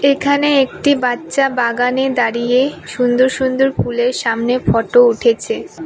এখানে একটি বাচ্চা বাগানে দাঁড়িয়ে সুন্দর সুন্দর ফুলের সামনে ফটো উঠেছে।